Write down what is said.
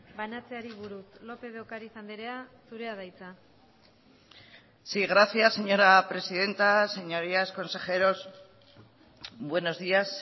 banatzeari buruz lópez de ocariz andrea zurea da hitza sí gracias señora presidenta señorías consejeros buenos días